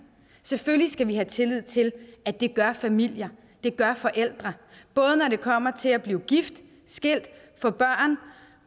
selvfølgelig skal vi have tillid til at det gør familier det gør forældre både når det kommer til at blive gift skilt få børn